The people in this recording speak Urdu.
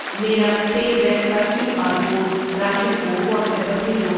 میرا پے زیپ کا کیو آر کوڈ راشد کو واٹس ایپ پر بھیجو۔